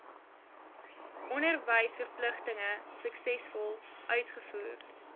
onderwysverpligtinge suksesvol uitvoer